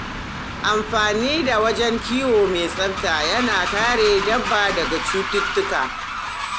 Amfani da wajen kiwo mai tsafta yana kare dabba daga cututtuka.